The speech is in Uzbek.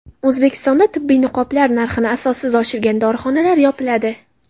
O‘zbekistonda tibbiy niqoblar narxini asossiz oshirgan dorixonalar yopiladi.